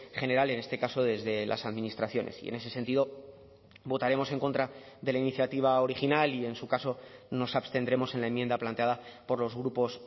general en este caso desde las administraciones y en ese sentido votaremos en contra de la iniciativa original y en su caso nos abstendremos en la enmienda planteada por los grupos